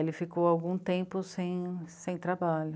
Ele ficou algum tempo sem... sem trabalho.